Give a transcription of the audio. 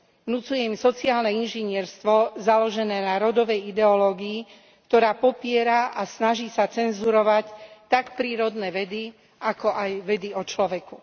Vnucuje im sociálne inžinierstvo založené na rodovej ideológii, ktorá popiera a snaží sa cenzurovať tak prírodné vedy, ako aj vedy o človeku.